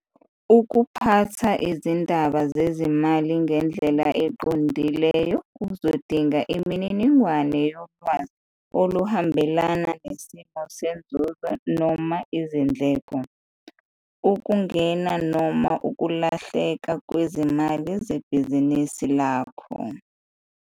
Ukuphatha izindaba zezimali ngendlela eqondileyo uzodinga imininingwane yolwazi oluhambelana nesimo senzuzo noma izindleko, ukungena noma ukulahleka kwezimali, sebhizinisi lakho.